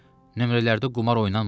Nömrələrdə qumar oynanmır.